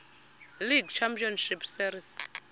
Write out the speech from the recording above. league championship series